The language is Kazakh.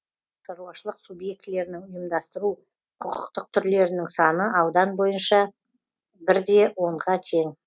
ал шаруашылық субъектілерінің ұйымдастыру құқықтық түрлерінің саны аудан бойынша бір де онға тең